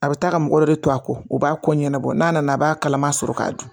A bɛ taa ka mɔgɔ dɔ de to a kɔ o b'a kɔ ɲɛnabɔ n'a nana a b'a kalama sɔrɔ k'a dun